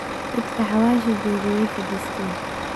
Dadka xawasha joge way fadisten.